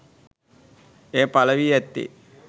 එය පලවී ඇත්තේ